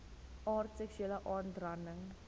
aard seksuele aanranding